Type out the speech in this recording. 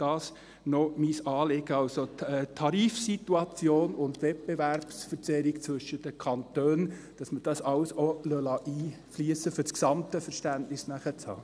Dies sind noch mein Anliegen: dass wir also die Tarifsituation und die Wettbewerbsverzerrung zwischen den Kantonen einfliessen lassen, um nachher das gesamte Verständnis zu haben.